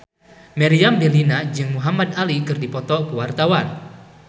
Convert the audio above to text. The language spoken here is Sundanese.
Meriam Bellina jeung Muhamad Ali keur dipoto ku wartawan